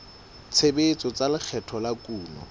tshebetso tsa lekgetho la kuno